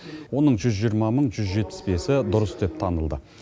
оның жүз жиырма мың жүз жетпіс бесі дұрыс деп танылды